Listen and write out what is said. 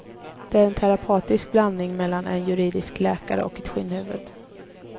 Den är en terapeutisk drabbning mellan en judisk läkare och ett skinnhuvud.